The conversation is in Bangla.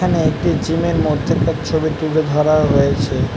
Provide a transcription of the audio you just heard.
এখানে একটি জিম -এর মধ্যেকার ছবি তুলে ধরা হয়েছে ।